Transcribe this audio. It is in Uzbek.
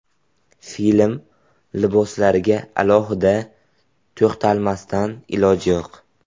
Film liboslariga alohida to‘xtalmasdan iloj yo‘q.